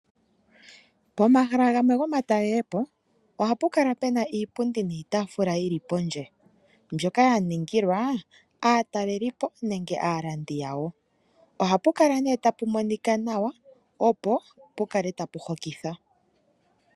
Pomahala gamwe gomatalelopo, ohapu kala puna iipundi niitaafula yili pondje. Mbyoka ya ningilwa aatalelipo, nenge aalandi yawo. Ohapu kala nduno tapu monika nawa, opo pukale tapu hokitha.